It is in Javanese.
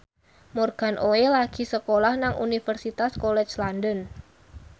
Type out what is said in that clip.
Morgan Oey lagi sekolah nang Universitas College London